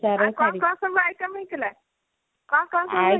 ଆଉ କଣ କଣ ସବୁ item ହେଇଥିଲା କଣ କଣ ସବୁ ହେଇଥିଲା